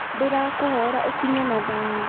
Ndĩrakũhoera ũkinye na thayũ